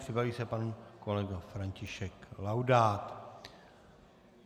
Připraví se pan kolega František Laudát.